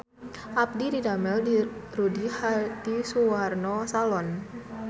Abdi didamel di Rudy Hadisuwarno Salon